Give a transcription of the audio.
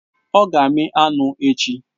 Ọ ga-amí anụ echi